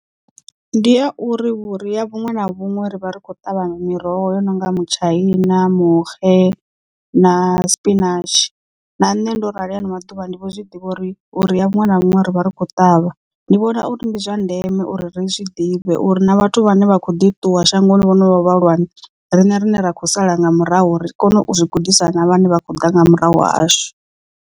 Ndi ya uri vhuria vhuṅwe na vhuṅwe ri vha ri khou ṱavha miroho yo no nga mutshaina, muxe na spinatshi na nṋe ndo rali hano maḓuvha ndi vho zwi ḓivha uri vhuria vhuṅwe na vhuṅwe ri vha ri khou ṱavha ndi vhona uri ndi zwa ndeme uri ri zwi ḓivhe uri na vhathu vhane vha kho ḓi ṱuwa shangoni vhane vhono vha vhahulwane riṋe rine ra khou sala nga murahu ri kone u zwi gudisana na vhane vha khou ḓa nga murahu hashu.